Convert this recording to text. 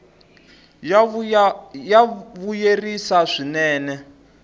ya vuyerisa swinene